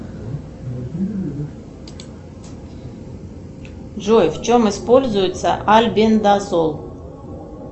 джой в чем используется альбендазол